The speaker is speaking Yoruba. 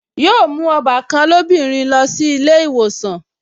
Yóò mú ọbàkan rẹ̀ lóbìnrin lọ sí ilé ìwòsàn